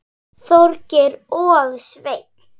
Þorgeir og Sveinn.